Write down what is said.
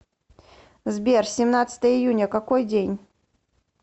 сбер семнадцатое июня какой день